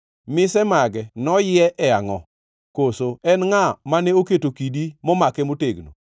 Mise mage noyie e angʼo? Koso en ngʼa mane oketo kidi momake motegno?